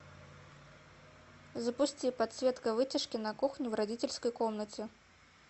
запусти подсветка вытяжки на кухне в родительской комнате